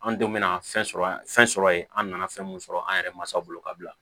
An denw bɛna fɛn sɔrɔ an ye fɛn sɔrɔ yen an nana fɛn mun sɔrɔ an yɛrɛ masaw bolo ka bila